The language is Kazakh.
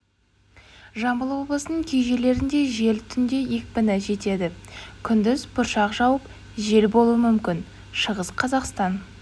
жамбыл облысының кей жерлерінде жел түнде екпіні жетеді күндіз бұршақ жауып жел болуы мүмкін шығыс қазақстан